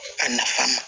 A nafa ma